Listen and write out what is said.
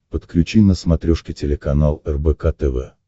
подключи на смотрешке телеканал рбк тв